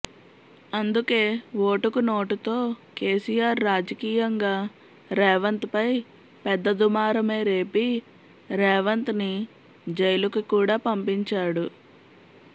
అందుకే ఓటుకు నోటుతో కెసిఆర్ రాజకీయంగా రేవంత్ పై పెద్ద దుమారమే రేపి రేవంత్ ని జైలుకి కూడా పంపించాడు